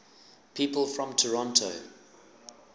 people from toronto